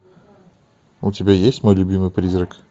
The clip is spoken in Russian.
у тебя есть мой любимый призрак